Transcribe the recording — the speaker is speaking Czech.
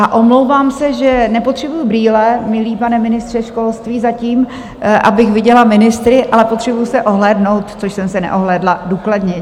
A omlouvám se, že nepotřebuji brýle, milý pane ministře školství, zatím, abych viděla ministry, ale potřebuji se ohlédnout, což jsem se neohlédla důkladně.